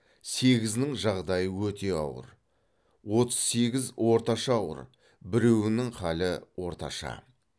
сегізінің жағдайы өте ауыр отыз сегіз орташа ауыр біреуінің халі орташа